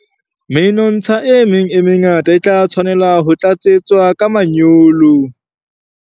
Menontsha e meng e mengata e tla tshwanela ho tlatsetswa ka manyolo.